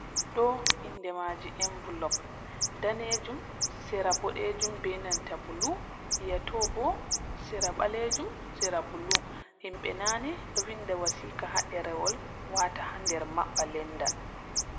Do inde maji envelop danejum serabodejum benanta bulu, miyato bo serabalejum sera bulu himbe nani do vinda wasika ha derewol wata ha nder mabba lenda.